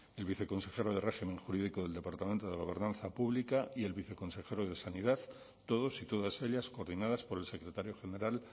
el viceconsjero de régimen jurídico del departamento de gobernanza pública y el viceconsejero de sanidad todos y todas ellas coordinadas por el secretario general